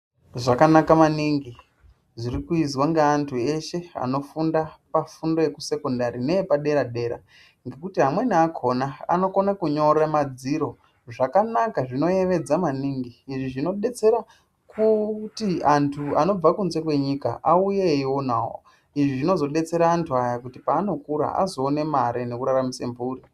Zvakanaka maningi zviri kuizwa nge antu eshe ano funda pa fundo yeku sekondari neye padera dera ngekuti amweni akona anokone kunyore madziro zvanaka zvino yevedza maningi izvi zvino detsera kuti antu anobva kunze kwenyika auye eyi onawo izvi zvinozo detsera antu aya kuti paano kura azo one mari neku raramise mburi.